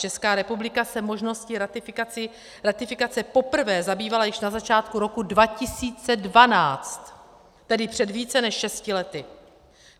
Česká republika se možností ratifikace poprvé zabývala již na začátku roku 2012, tedy před více než šesti lety.